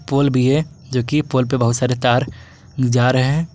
पोल भी है जोकि पोल पे बहुत सारे तार जा रहे हैं।